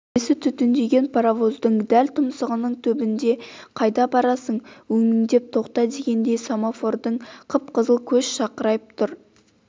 төбесі түтіндеген паравоздың дәл тұмсығының түбінде қайда барасың өңмеңдеп тоқта дегендей семофордың қып-қызыл көз шақырайып тұр